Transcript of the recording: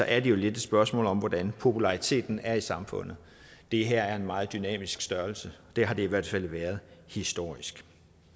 er det jo lidt et spørgsmål om hvordan populariteten er i samfundet det her er en meget dynamisk størrelse det har det i hvert fald været historisk